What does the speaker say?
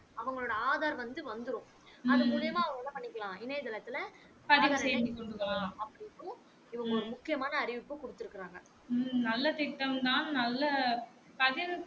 அவங்களோட ஆதார் வந்து வந்துரும் அது மூலியமா அவங்க என்ன பண்ணிக்கலாம் இணைய தளத்துல கொள்ளலாம் அப்படின்னும் இவங்க ஒரு முக்கியமான அறிவிப்பு குடுத்து இருக்காங்க